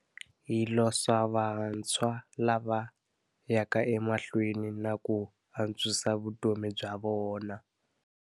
Hi losa vantshwa lava yaka emahlweni na ku antswisa vutomi bya vona.